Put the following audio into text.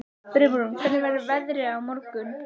Brimrún, hvernig verður veðrið á morgun?